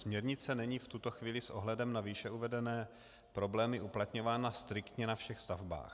Směrnice není v tuto chvíli s ohledem na výše uvedené problémy uplatňována striktně na všech stavbách.